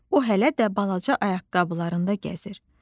O hələ də balaca ayaqqabılarında gəzir.